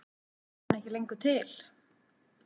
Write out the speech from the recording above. Er hann ekki lengur til?